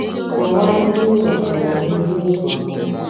Kọwaa ihe ịghọtara n'ihe ị gụrụ